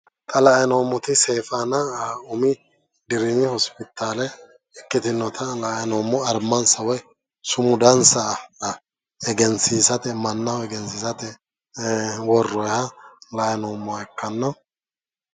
Xa la'ayi noommoti seefaana umi dirimi hospitaale ikkitinota armansa woy sumudansa egensiisate mannaho egensiisate worroyiha la'ayi noommo yaate.